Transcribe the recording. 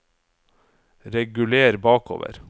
reguler bakover